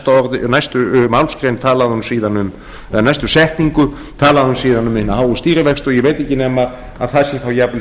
í næstu málsgrein eða næstu setningu talaði hún síðan um hina háu stýrivexti og ég veit ekki nema það sé þá jafnvel